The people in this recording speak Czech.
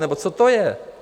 Nebo co to je?